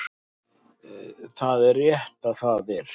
Það er rétt að það